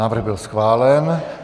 Návrh byl schválen.